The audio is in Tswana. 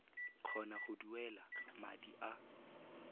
kgona go duela madi a